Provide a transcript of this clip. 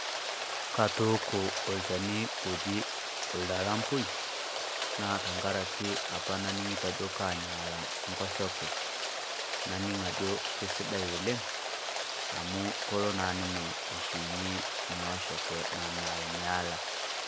Katooko olchani oji oldaampoi naa tang'araki apaa naninkitoo ajo kaanyalaa nkoshoke. Nadiing' ako kesidai oleng amu koloo naa ninye aishuunye nia osheeke nanyalnyaala.